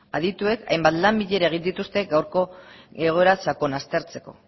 adituek hainbat bilera egin dituzte gaurko egoera sakon aztertzeko